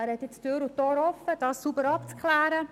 Er hat Tür und Tor geöffnet, um das sauber abzuklären.